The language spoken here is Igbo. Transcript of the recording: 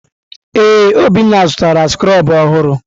Ee, Obinna zụtara skrobụ ọhụrụ.